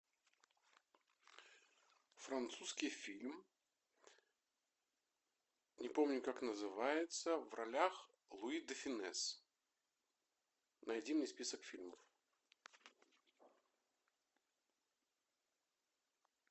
французский фильм не помню как называется в ролях луи де фюнес найди мне список фильмов